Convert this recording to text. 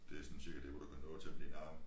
Det sådan cirka der hvor du kan nå til med din arm